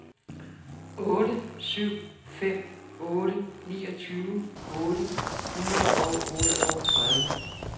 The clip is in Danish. otte syv fem otte niogtyve otte hundrede og otteogtredive